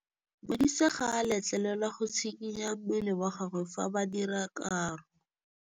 Modise ga a letlelelwa go tshikinya mmele wa gagwe fa ba dira karô.